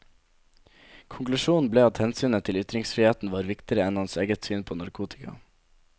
Konklusjonen ble at hensynet til ytringsfriheten var viktigere enn hans eget syn på narkotika.